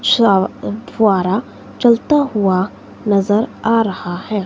स अह फ़व्वारा चलता हुआ नजर आ रहा है।